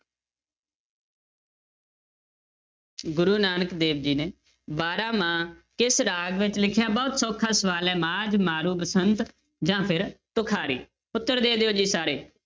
ਗੁਰੂ ਨਾਨਕ ਦੇਵ ਜੀ ਨੇ ਬਾਰਾਂਮਾਂਹ ਕਿਸ ਰਾਗ ਵਿੱਚ ਲਿਖਿਆ, ਬਹੁਤ ਸੌਖਾ ਸਵਾਲ ਹੈ ਮਾਝ, ਮਾਰੂ, ਬਸੰਤ ਜਾਂ ਫਿਰ ਤੁਖਾਰੀ, ਉੱਤਰ ਦੇ ਦਿਓ ਜੀ ਸਾਰੇ।